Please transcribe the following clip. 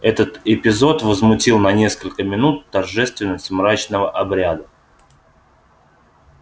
этот эпизод возмутил на несколько минут торжественность мрачного обряда